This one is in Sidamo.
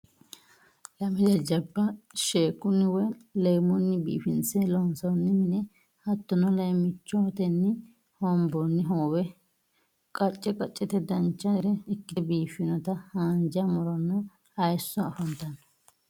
Lame jajjabba sheekkunni woy leemmunni biifinse loonsoonni mine hattono leemmiichotenni hoonboonni hoowe qacce qaccete dancha gede ikkite biiffinota haanja muronna hayisso afantanno